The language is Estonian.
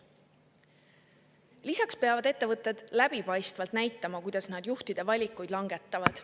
Lisaks peavad ettevõtted läbipaistvalt näitama, kuidas nad juhtide puhul valikuid langetavad.